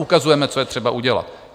Ukazujeme, co je třeba udělat.